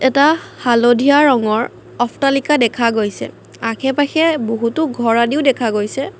এটা হালধীয়া ৰঙৰ অফটালিকা দেখা গৈছে আশে পাশে বহুতো ঘৰ আদিও দেখা গৈছে।